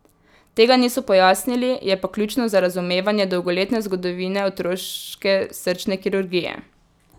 Tega niso pojasnili, je pa ključno za razumevanje dolgoletne zgodovine otroške srčne kirurgije.